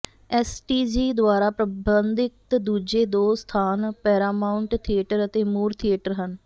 S T G ਦੁਆਰਾ ਪ੍ਰਬੰਧਿਤ ਦੂਜੇ ਦੋ ਸਥਾਨ ਪੈਰਾਮਾਉਂਟ ਥੀਏਟਰ ਅਤੇ ਮੂਰ ਥੀਏਟਰ ਹਨ